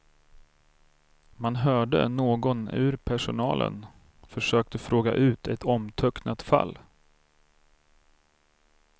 Man hörde någon ur personalen försöka fråga ut ett omtöcknat fall.